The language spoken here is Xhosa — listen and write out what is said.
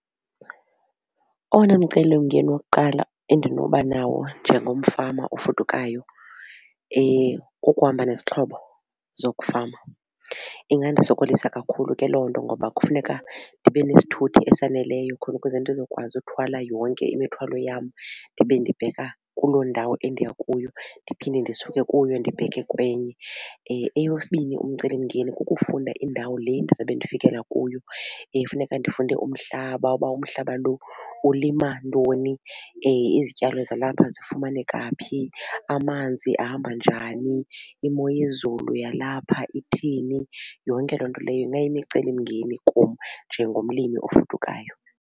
Owona mcelimngeni wokuqala endinoba nawo njengomfama ofudukayo kukuhamba nezixhobo zokufama. Ingandisokolisa kakhulu ke loo nto ngoba kufuneka ndibe nesithuthi esaneleyo khona ukuze ndizokwazi uthwala yonke imithwalo yam ndibe ndibheka kuloo ndawo endiya kuyo ndiphinde ndisuke kuyo ndibheke kwenye. Eyesibini umcelimngeni kukufunda indawo le ndizabe ndifikela kuyo. Funeka ndifunde umhlaba uba umhlaba lo ulima ntoni izityalo zalapha zifumaneka phi amanzi ahamba njani imo yezulu yalapha ithini yonke loo nto leyo ingayimicelimngeni kum njengomlimi ofudukayo.